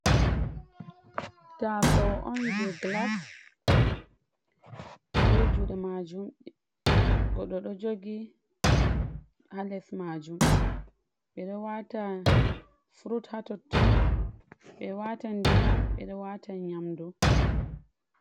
Taasawo on je gilas, be juuɗe maajum goɗɗo ɗo jogi haa les majum ɓeɗo wata furut haatotton, ɓe watan ndiyam, ɓeɗo wata nyamdu.